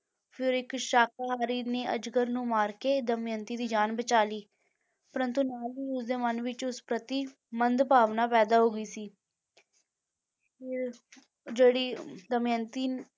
ਫਿਰ ਇੱਕ ਸ਼ਾਕਾਹਾਰੀ ਨੇ ਅਜਗਰ ਨੂੰ ਮਾਰ ਕੇ ਦਮਿਅੰਤੀ ਦੀ ਜਾਨ ਬਚਾ ਲਈ, ਪਰੰਤੂ ਨਾਲ ਹੀ ਉਸ ਦੇ ਮਨ ਵਿੱਚ ਉਸ ਪ੍ਰਤੀ ਮੰਦ ਭਾਵਨਾ ਪੈਦਾ ਹੋ ਗਈ ਸੀ ਫਿਰ ਜਿਹੜੀ ਦਮਿਅੰਤੀ